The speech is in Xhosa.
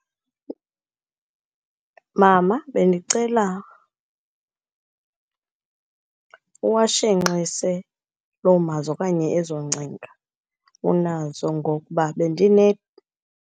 Mama, bendicela uwashenxise loo mazwi okanye ezo ngcinga unazo, ngokuba bendine.